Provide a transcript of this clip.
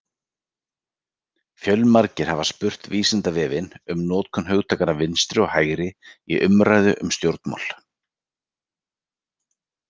Fjölmargir hafa spurt Vísindavefinn um notkun hugtakanna vinstri og hægri í umræðu um stjórnmál: